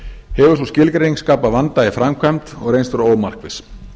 hefur sú skilgreining skapað vanda í framkvæmd og reynst vera ómarkviss